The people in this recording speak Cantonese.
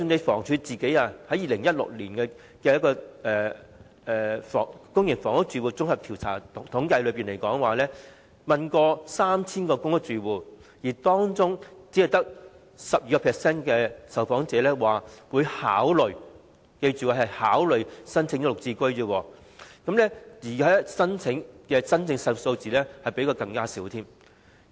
房屋署在2016年進行公營房屋住戶綜合統計調查，訪問了 3,000 名公屋住戶，當中只有 12% 受訪者表示會考慮——記着是"考慮"——申請"綠置居"，而真正的申請數字是更少的。